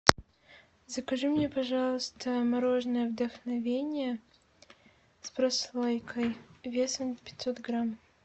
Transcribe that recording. закажи мне пожалуйста мороженое вдохновение с прослойкой весом пятьсот грамм